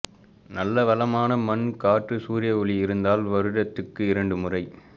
நல்ல வளமான மண் கற்று சூர்ய ஒளி இருந்தால் வருடத்துக்கு இரண்டுமுறை